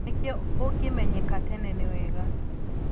Nĩkĩo ũngĩmenyeka tene nĩwega